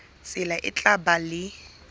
tsela e tla ba le